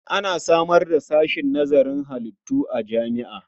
An samar da sashen nazarin halittu a jami'a.